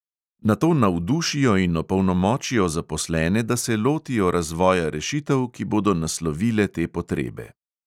Nato navdušijo in opolnomočijo zaposlene, da se lotijo razvoja rešitev, ki bodo naslovile te potrebe.